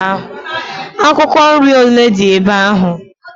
Akwụkwọ nri ole dị ebe ahụ?